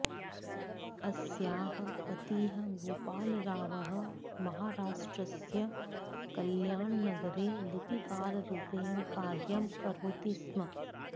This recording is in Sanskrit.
अस्याः पतिः गोपालरावः महाराष्ट्रस्य कल्याणनगरे लिपिकाररूपेण कार्यं करोति स्म